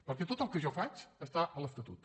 perquè tot el que jo faig està a l’estatut